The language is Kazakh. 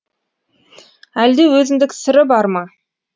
әлде өзіндік сыры бар ма